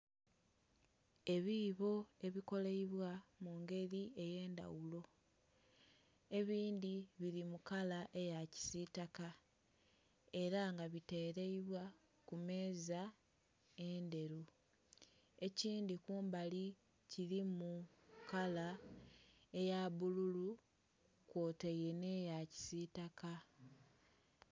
Ebibo ebikoleibwa mungeri eye ndhaghulo ebindhi bili mu kala eya kisitaka era nga biteleibwa ku meeza endheru ekindhi kumbali kilimu kala eya bbululu kwotaire nhe ya kisitaka.